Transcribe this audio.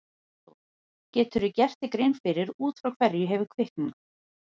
Hafþór: Geturðu gert þér grein fyrir út frá hverju hefur kviknað?